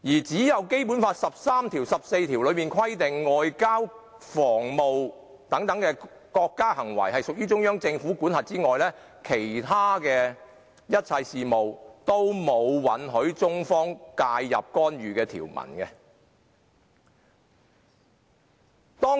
"除了《基本法》第十三及十四條規定外交及防務等屬中央人民政府管轄範圍外，並無其他條文允許中方介入干預香港任何事務。